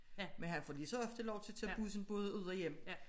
Men han får lige så ofte lov til at tage bussen både ud og hjem